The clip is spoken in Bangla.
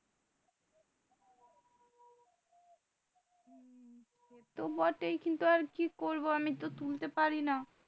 তো বটেই কিন্তু আর কি করবো আমি তো তুলতে পারি না